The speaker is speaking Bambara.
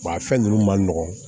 a fɛn ninnu man nɔgɔn